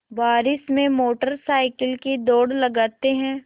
बारिश में motorcycle की दौड़ लगाते हैं